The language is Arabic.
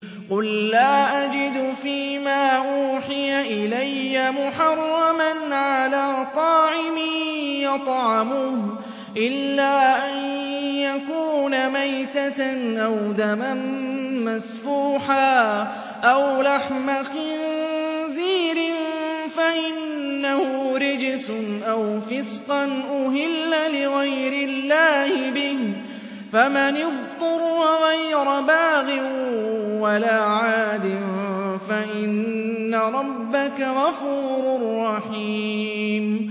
قُل لَّا أَجِدُ فِي مَا أُوحِيَ إِلَيَّ مُحَرَّمًا عَلَىٰ طَاعِمٍ يَطْعَمُهُ إِلَّا أَن يَكُونَ مَيْتَةً أَوْ دَمًا مَّسْفُوحًا أَوْ لَحْمَ خِنزِيرٍ فَإِنَّهُ رِجْسٌ أَوْ فِسْقًا أُهِلَّ لِغَيْرِ اللَّهِ بِهِ ۚ فَمَنِ اضْطُرَّ غَيْرَ بَاغٍ وَلَا عَادٍ فَإِنَّ رَبَّكَ غَفُورٌ رَّحِيمٌ